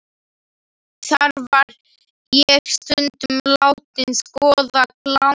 Þar var ég stundum látin skoða klámblöð.